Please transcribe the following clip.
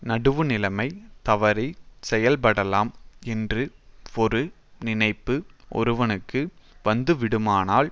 நடுவுநிலைமை தவறி செயல்படலாம் என்று ஒரு நினைப்பு ஒருவனுக்கு வந்து விடுமானால்